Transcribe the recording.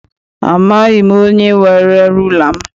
Amaghị m onye were rula m.